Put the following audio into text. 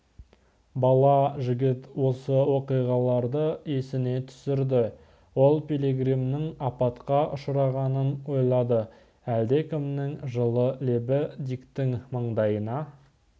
бала жігіт осы оқиғаларды есіне түсірді ол пилигримнің апатқа ұшырағанын ойлады әлдекімнің жылы лебі диктің маңдайына